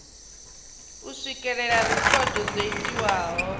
u swikelela rekhodo dzo itiwaho